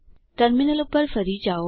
terminal ઉપર ફરી જાઓ